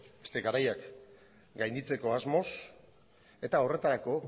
beste garaiak gainditzeko asmoz eta horretarako